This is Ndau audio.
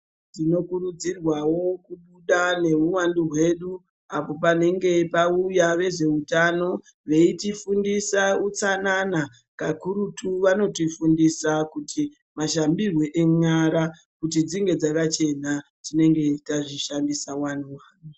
Tinokurudzirwa kubuda nehuhwandu hwedu apo panenge pauya vezvehutano veitifundisa utsanana kakurutu vanotifundisa kuti mashambirwo enyara Kuyi dzinge dzakachena tinenge teita mishandirwa.